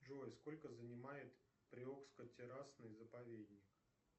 джой сколько занимает приокско террасный заповедник